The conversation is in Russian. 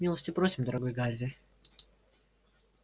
милости просим дорогой гарри